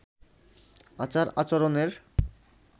আচার আচরণের